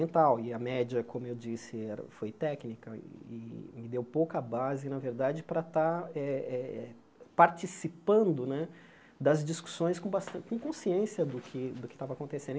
e a média, como eu disse era, foi técnica e me deu pouca base, na verdade, para estar eh eh participando né das discussões com bastan com consciência do que do que estava